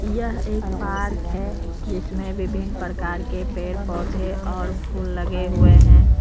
यह एक पार्क है जिसमें विभिन्न प्रकार के पेड़ पौधे और फूल लगे हुए हैं।